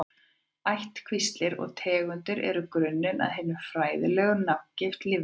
Ættkvíslir og tegundir eru grunnurinn að hinni fræðilegu nafngift lífvera.